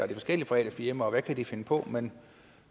og forskellige private firmaer og hvad de kan finde på men